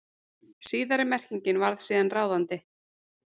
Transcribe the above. Síðari merkingin varð síðan ráðandi.